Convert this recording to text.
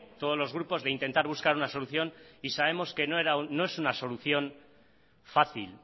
todos los grupos de intentar buscar una solución y sabemos que no es una solución fácil